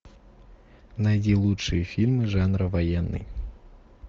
найди лучшие фильмы жанра военный